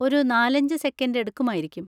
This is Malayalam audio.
ഒരു നാലഞ്ച് സെക്കൻഡ് എടുക്കുമായിരിക്കും.